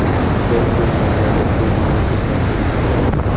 Biz bu muammoga ko‘z yumib ketmasligimiz kerak.